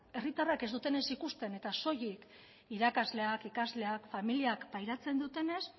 herritarrek ez dutenez ikusten eta soilik irakasleak ikasleak familiak pairatzen dutenez